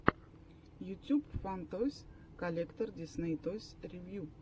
ютюб фан тойс коллектор дисней тойс ревью